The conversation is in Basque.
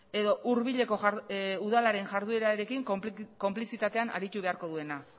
edo hurbileko udalaren jarduerarekin konplizitatean aritu beharko duena